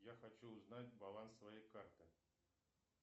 я хочу узнать баланс своей карты